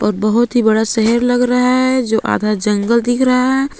और बहुत ही बड़ा शहर लग रहा है जो आधा जंगल दिख रहा है।